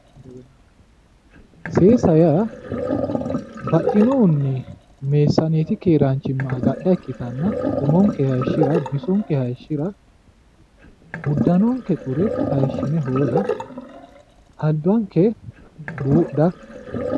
seesa yaa baxxinohunni meessaneeti keeraanchimma agadha ikkitanna umonke hayiishira bisonke hayiishira uddanonke xure hayiishine hoola albanke buudha